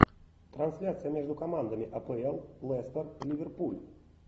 трансляция между командами апл лестер ливерпуль